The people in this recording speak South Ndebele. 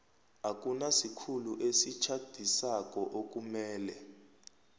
akunasikhulu esitjhadisako okumele